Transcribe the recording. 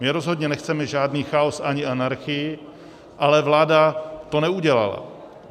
My rozhodně nechceme žádný chaos ani anarchii, ale vláda to neudělala.